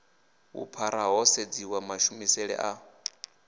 vhuphara ho sedziwa mashumele a